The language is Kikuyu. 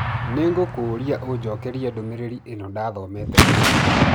Nĩ ngũkũũria ũnjokerie ndũmĩrĩri ĩno ndathomete ica ikuhĩ.